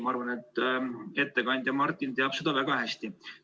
Ma arvan, et ettekandja Martin teab seda väga hästi.